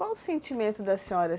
Qual o sentimento da senhora?